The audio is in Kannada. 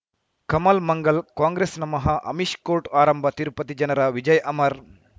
ಕಮಲ್ ಮಂಗಳ್ ಕಾಂಗ್ರೆಸ್ ನಮಃ ಅಮಿಷ್ ಕೋರ್ಟ್ ಆರಂಭ ತಿರುಪತಿ ಜನರ ವಿಜಯ ಅಮರ್